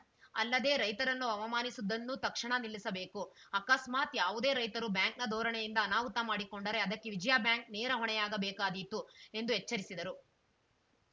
ಅಲ್ಲದೇ ರೈತರನ್ನು ಅವಮಾನಿಸುವುದನ್ನೂ ತಕ್ಷಣ ನಿಲ್ಲಿಸಬೇಕು ಆಕಸ್ಮಾತ್‌ ಯಾವುದೇ ರೈತರು ಬ್ಯಾಂಕ್‌ನ ಧೋರಣೆಯಿಂದ ಅನಾಹುತ ಮಾಡಿಕೊಂಡರೆ ಅದಕ್ಕೆ ವಿಜಯಾ ಬ್ಯಾಂಕ್‌ ನೇರ ಹೊಣೆಯಾಗಬೇಕಾದೀತು ಎಂದು ಎಚ್ಚರಿಸಿದರು